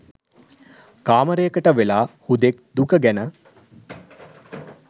කාමරයකට වෙලා හුදෙක් දුක ගැන